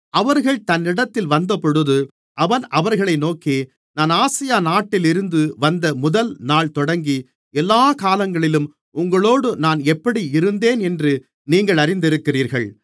அவர்கள் தன்னிடத்தில் வந்தபொழுது அவன் அவர்களை நோக்கி நான் ஆசியா நாட்டிலிருந்து வந்த முதல்நாள் தொடங்கி எல்லாக் காலங்களிலும் உங்களோடு நான் எப்படி இருந்தேன் என்று நீங்கள் அறிந்திருக்கிறீர்கள்